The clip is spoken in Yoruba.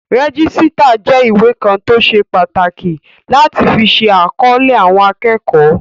Rẹ́jísítà jẹ́ ìwé kan tó ṣe pàtàkì láti fi ṣe àkọlé àwọn akẹ́kọ̀ọ́